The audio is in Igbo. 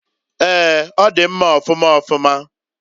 Eeǃ Ọ di mma ọfụma ọfụma.